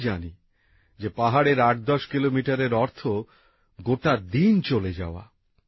আমি জানি যে পাহাড়ের আটদশ কিলোমিটারের অর্থ গোটা দিন চলে যাওয়া